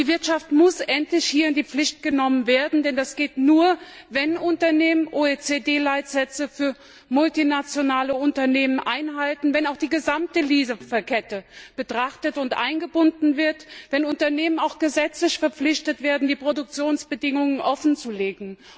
Die Wirtschaft muss hier endlich in die Pflicht genommen werden, denn das geht nur, wenn Unternehmen OECD Leitsätze für multinationale Unternehmen einhalten, wenn auch die gesamte Lieferkette betrachtet und eingebunden wird, wenn Unternehmen auch gesetzlich verpflichtet werden, die Produktionsbedingungen offenzulegen.